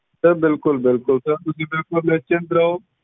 sir ਬਿਲਕੁਲ ਬਿਲਕੁਲ sir ਤੁਸੀਂ ਬਿਲਕੁਲ ਨਿਸਚਿੰਤ ਰਹੋ